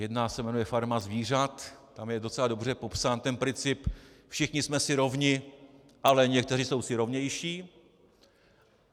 Jedna se jmenuje Farma zvířat, tam je docela dobře popsán ten princip "všichni jsme si rovni, ale někteří jsou si rovnější".